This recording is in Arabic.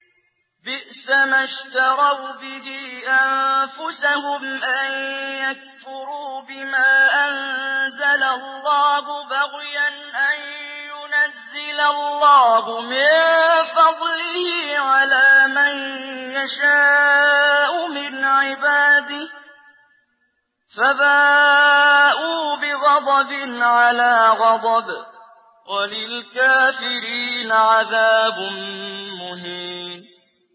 بِئْسَمَا اشْتَرَوْا بِهِ أَنفُسَهُمْ أَن يَكْفُرُوا بِمَا أَنزَلَ اللَّهُ بَغْيًا أَن يُنَزِّلَ اللَّهُ مِن فَضْلِهِ عَلَىٰ مَن يَشَاءُ مِنْ عِبَادِهِ ۖ فَبَاءُوا بِغَضَبٍ عَلَىٰ غَضَبٍ ۚ وَلِلْكَافِرِينَ عَذَابٌ مُّهِينٌ